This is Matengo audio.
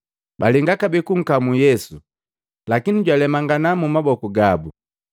Balenga kabee kunkamu Yesu, lakini jwalemangana mumaboku gabu.